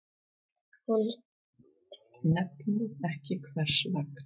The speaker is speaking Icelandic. Hún nefnir ekki hvers vegna.